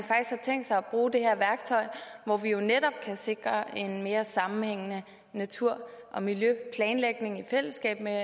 tænkt sig at bruge det her værktøj hvor vi jo netop kan sikre en mere sammenhængende natur og miljøplanlægning i fællesskab med